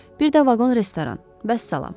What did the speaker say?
Bir də vaqon restoran, vəssalam.